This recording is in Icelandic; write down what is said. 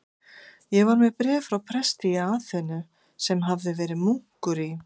Ég var með bréf frá presti í Aþenu, sem verið hafði munkur í